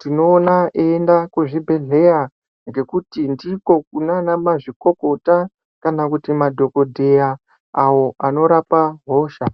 tinoona eienda kuzvibhehleya ngekuti ndiko kunana mazvikokota kana kuti madhokodheya awo anorapa hosha.